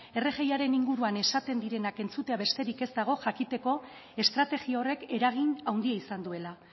rgiaren inguruan esaten direnak entzutea besterik ez dago jakiteko estrategia horrek eragin haundia izan duela